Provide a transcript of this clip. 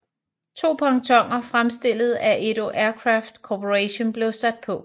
To pontoner fremstillet af Edo Aircraft Corporation blev sat på